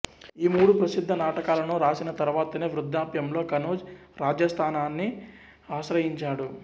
ఈ మూడు ప్రసిద్ధ నాటకాలను రాసిన తరువాతనే వృద్ధాప్యంలో కనోజ్ రాజాస్థానాన్ని ఆశ్రయించాడు